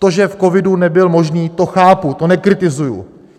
To, že v covidu nebyl možný, to chápu, to nekritizuji.